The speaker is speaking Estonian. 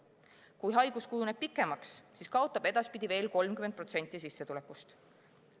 Kui haigus kujuneb pikemaks, siis kaotab ta edaspidi veel 30% sissetulekust.